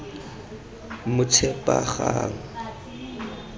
motshepagang